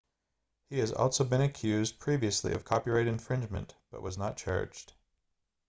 he has also been accused previously of copyright infringement but was not charged